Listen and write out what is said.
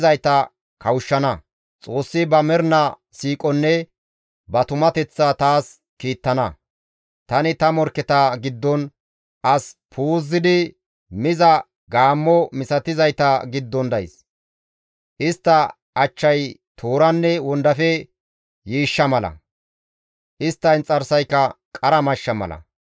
Tani ta morkketa giddon, as puuzidi miza gaammo misatizayta giddon days. Istta achchay tooranne wondafe yiishshaa mala; istta inxarsayka qara mashsha mala.